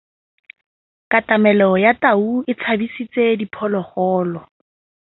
Katamêlô ya tau e tshabisitse diphôlôgôlô.